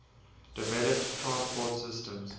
developed transport systems